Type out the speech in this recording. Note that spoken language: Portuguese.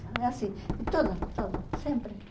E assim, tudo, tudo, sempre.